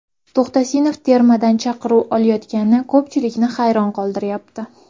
To‘xtasinov termadan chaqiruv olmayotgani ko‘pchilikni hayron qoldiryapti?